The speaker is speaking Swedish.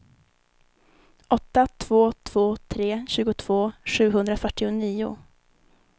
åtta två två tre tjugotvå sjuhundrafyrtionio